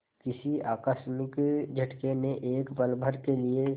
किसी आकस्मिक झटके ने एक पलभर के लिए